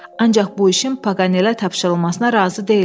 Ancaq bu işin Paqanelə tapşırılmasına razı deyiləm.